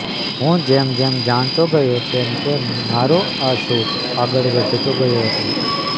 હું જેમ જેમ જાણતો ગયો તેમ તેમ મારો આ શોખ આગળ વધતો ગયો હતો